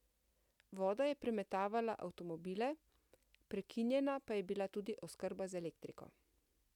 Voda je premetavala avtomobile, prekinjena pa je bila tudi oskrba z elektriko.